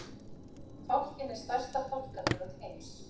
Fálkinn er stærsta fálkategund heims.